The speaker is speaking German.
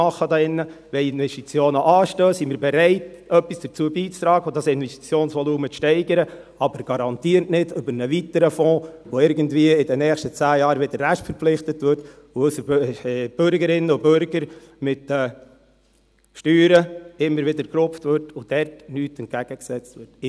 Wenn Investitionen anstehen, sind wir bereit, etwas dazu beizutragen und das Investitionsvolumen zu steigern, aber garantiert nicht über einen weiteren Fonds, der in den nächsten zehn Jahren wieder irgendwie restverpflichtet wird, und unsere Bürgerinnen und Bürger mit den Steuern immer wieder gerupft werden, ohne dass dem etwas entgegengesetzt wird.